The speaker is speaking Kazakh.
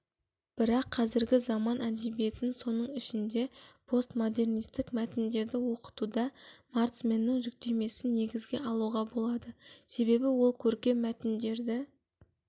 бірақ қазіргі заман әдебиетін соның ішінде постмодернистік мәтіндерді оқытуда маранцманның жіктемесін негізге алуға болады себебі ол көркем мәтіндерді